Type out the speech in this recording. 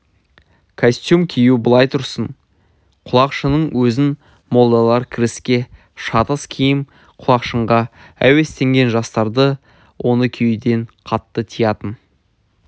костюм кию былай тұрсын құлақшынның өзін молдалар кіреске шатыс киім деп құлақшынға әуестенген жастарды оны киюден қатты тиятын